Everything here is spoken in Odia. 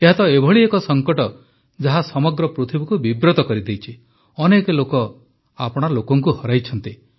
ଏହା ତ ଏଭଳି ଏକ ସଙ୍କଟ ଯାହା ସମଗ୍ର ପୃଥିବୀକୁ ବିବ୍ରତ କରିଦେଇଛି ଅନେକ ଲୋକ ଆପଣା ଲୋକଙ୍କୁ ହରାଇଛନ୍ତି